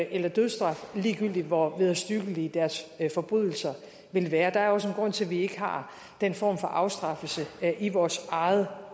eller dødsstraf ligegyldigt hvor vederstyggelige deres forbrydelser ville være der er også en grund til at vi ikke har den form for afstraffelse i vores eget